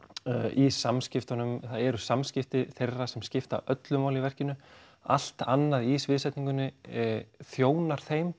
í samskiptunum það eru samskipti þeirra sem skipta öllu máli í verkinu allt annað í sviðsetningunni þjónar þeim